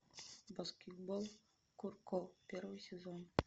баскетбол куроко первый сезон